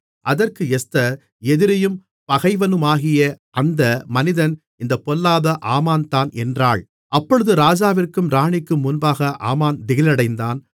அதற்கு எஸ்தர் எதிரியும் பகைவனுமாகிய அந்த மனிதன் இந்த பொல்லாத ஆமான்தான் என்றாள் அப்பொழுது ராஜாவிற்கும் ராணிக்கும் முன்பாக ஆமான் திகிலடைந்தான்